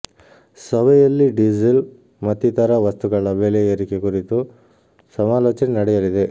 ಸಭೆಯಲ್ಲಿ ಡೀಸೆಲ್ ಮತ್ತಿತರ ವಸ್ತುಗಳ ಬೆಲೆ ಏರಿಕೆ ಕುರಿತು ಸಮಾಲೋಚನೆ ನಡೆಯಲಿದೆ